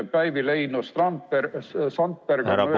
Soomeski on selle pärast muretsetud.